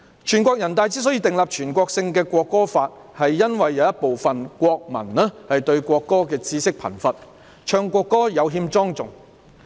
全國人大常委會之所以訂立全國性的《國歌法》，是因為有部分國民對國歌的知識貧乏，唱國歌時有欠莊重。